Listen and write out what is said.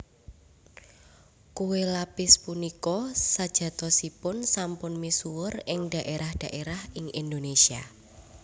Kué lapis punika sejatosipun sampun misuwur ing dhaérah dhaérah ing Indonésia